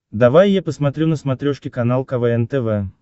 давай я посмотрю на смотрешке канал квн тв